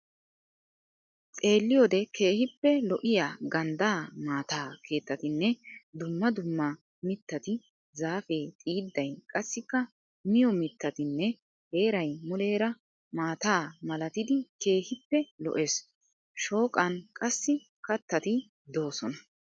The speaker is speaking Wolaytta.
Xeelliyode keehiippe lo'iya gandaa maata keettatiinne dumma dumma mittati, zaafee, xiidday qassikka miyo mitatinne heeray muleera maata malattidi keehiippe lo'ees. Shooqaan qassi kattati doosona.